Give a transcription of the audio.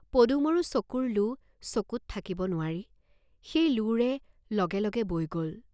পদুমৰো চকুৰ লো চকুত থাকিব নোৱাৰি সেই লোৰে লগে লগে বৈ গল।